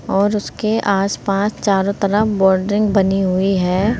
और उसके आसपास चारों तरफ बाउंड्रिग बनी हुई है।